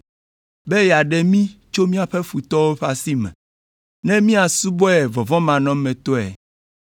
be yeaɖe mí tso míaƒe futɔwo ƒe asi me, ne míasubɔe vɔvɔ̃manɔmetɔe